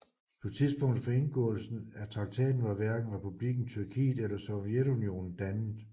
På tidspunktet for indgåelsen af traktaten var hverken Republikken Tyrkiet eller Sovjetunionen dannet